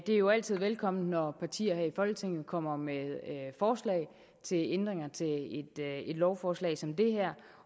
er jo altid velkomment når partier her i folketinget kommer med forslag til ændringer til et lovforslag som det her